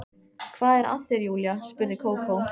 Hvað er að þér Júlía? spurði Kókó.